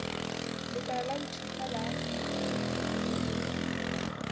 lekala la ho ithuta la